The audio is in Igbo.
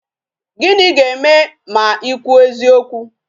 Gịnị ga-eme ma ị kwuo eziokwu?